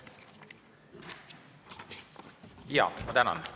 Jaa, ma tänan.